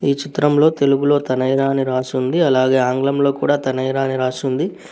ఈ చిత్రంలో తెలుగులో తనైరా అని రాసి ఉంది అలాగే ఆంగ్లం లో కూడా తనైరా అని రాసి ఉంది.